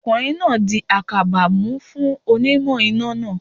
Ọkùnrin náà di àkàbà mú fún onímọ̀ iná náà